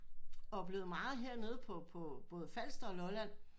Oplevet meget her nede på på både Falster og Lolland